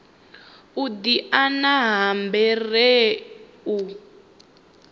u diana ha bere u